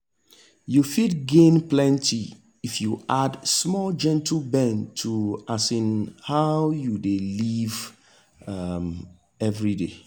you fit gain plenty if you fit add small gentle bend to um how you dey live um every day.